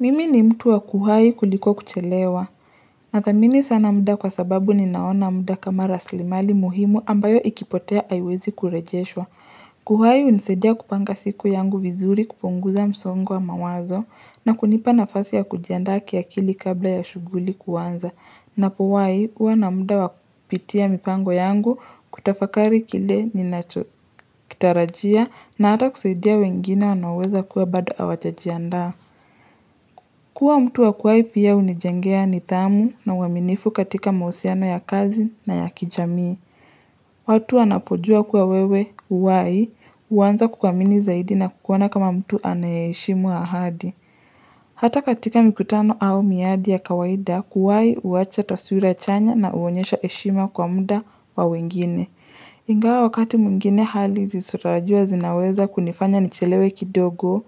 Mimi ni mtu wa kuwai kuliko kuchelewa, na thamini sana muda kwa sababu ninaona muda kama raslimali muhimu ambayo ikipotea haiwezi kurejeshwa. Kuhai hunisaidia kupanga siku yangu vizuri kupunguza msongo wa mawazo na kunipa nafasi ya kujiandaa kiakili kabla ya shuguli kuanza. Napowai huwa na muda wakupitia mipango yangu kutafakari kile ninacho kitarajia na ata kusaidia wengine wanaoweza kuwa bado hawajajiandaa. Kua mtu wa kuwai pia unijengea nidhamu na uaminifu katika mahusiano ya kazi na ya kijamii. Watu wanapojua kuwa wewe huwai, huanza kukwamini zaidi na kukuona kama mtu anaye heshimu ahadi. Hata katika mikutano au miadi ya kawaida, kuwai uacha taswira chanya na huonyesha heshima kwa muda wa wengine. Ingawa wakati mwigine hali zisizo tarajiiwa zinaweza kunifanya nichelewe kidogo,